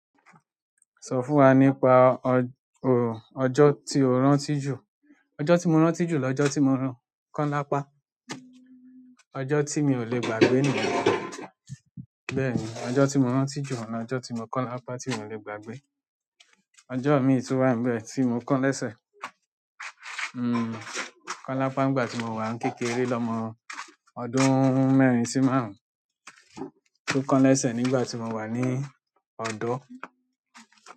Sọ fún wa nípa o, ọjọ́ tí o rántí jù. Ọjọ́ tí mo rántí jù lọ́jọ́ tí mo rún kan lápá, ọjọ́ tí mi ò le gbàgbé nìyẹn. Bẹ́ẹ̀ni, ọjọ́ tí mo rántí jù oun, lọ́jọ́ tí mo kọ́n lápá tí mi ò le gbàgbé. Ọjọ́ mii tun wa ń bẹ tí mo kán lẹ́sẹ̀, hmm kọ́n lápá nígbà tí mo wà ń kékeré lọ́mọ ọdún mẹ́rin sí márùn-ún. Tó kán lẹ́sẹ̀ nígbà tí mo wà ní ọ̀dọ́.